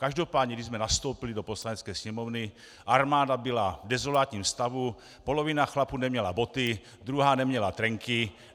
Každopádně když jsme nastoupili do Poslanecké sněmovny, armáda byla v dezolátním stavu, polovina chlapů neměla boty, druhá neměla trenky!